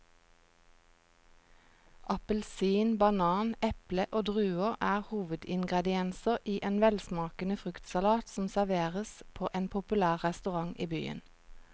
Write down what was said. Appelsin, banan, eple og druer er hovedingredienser i en velsmakende fruktsalat som serveres på en populær restaurant i byen.